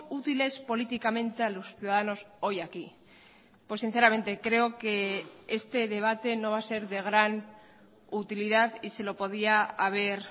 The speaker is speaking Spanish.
útiles políticamente a los ciudadanos hoy aquí pues sinceramente creo que este debate no va a ser de gran utilidad y se lo podía haber